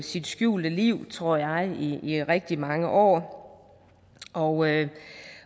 sit skjulte liv tror jeg i rigtig mange år og